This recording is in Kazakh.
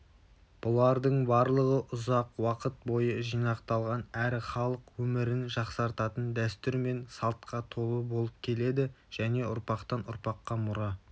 бұлардың барлығы ұзақ уақыт бойы жинақталған әрі халық өмірін жақсартатын дәстүр мен салтқа толы болып келеді және ұрпақтан-ұрпаққа мұра